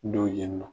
Don yen nɔ